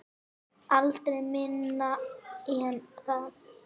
Aldrei minna en það.